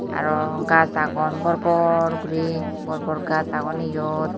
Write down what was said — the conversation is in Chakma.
arw gaj agon bor bor guri bor bor gaj agon eyot.